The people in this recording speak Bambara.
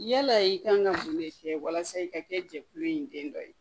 Yala i kan ka mun de kɛ walasa i ka kɛ jɛkulu in den dɔ ye